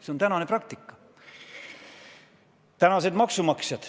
See on tänane praktika!